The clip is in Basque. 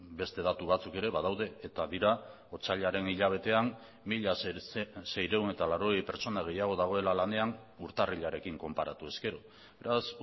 beste datu batzuk ere badaude eta dira otsailaren hilabetean mila seiehun eta laurogei pertsona gehiago dagoela lanean urtarrilarekin konparatu ezkero beraz